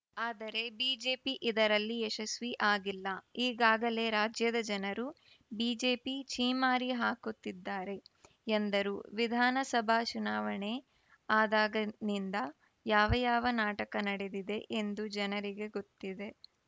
ಆದರೆ ಬಿಜೆಪಿ ಇದರಲ್ಲಿ ಯಶಸ್ವಿ ಅಗಿಲ್ಲ ಈಗಾಗಲೇ ರಾಜ್ಯದ ಜನರು ಬಿಜೆಪಿ ಛೀಮಾರಿ ಹಾಕುತ್ತಿದ್ದಾರೆ ಎಂದರು ವಿಧಾನಸಭಾ ಚುನಾವಣೆ ಅದಾಗನಿಂದ ಯಾವ ಯಾವ ನಾಟಕ ನಡೆದಿದೆ ಎಂದು ಜನರಿಗೆ ಗೊತ್ತಿದೆ